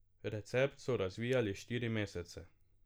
Recept so razvijali štiri mesece.